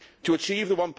To achieve the